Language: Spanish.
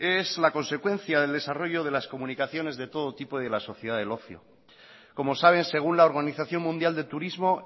es la consecuencia del desarrollo de las comunicaciones de todo tipo de la sociedad del ocio como saben según la organización mundial de turismo